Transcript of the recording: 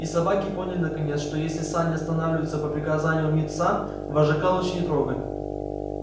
и собаки поняли наконец что если сани останавливаются по приказанию мит са вожака лучше не трогать